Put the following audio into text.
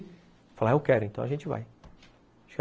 Ele fala, eu quero, então a gente vai.